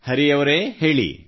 ಹರಿ ಅವರೇ ಹೇಳಿ